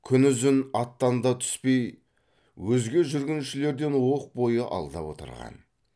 күнұзын аттан да түспей өзге жүргіншілерден оқ бойы алда отырған